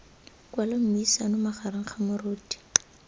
kwala mmuisano magareng ga moruti